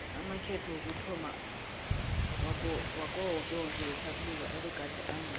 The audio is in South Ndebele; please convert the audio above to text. amakhetho wokuthomma wakawokewoke wetjhaphuluko abegade ango